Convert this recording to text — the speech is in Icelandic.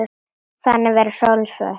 Þannig verður sólin svört.